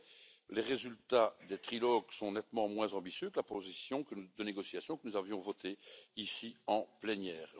En effet, les résultats des trilogues sont nettement moins ambitieux que la position de négociation que nous avions votée ici, en plénière.